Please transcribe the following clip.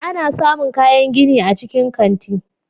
Ana samun kayan gini a cikin kanti.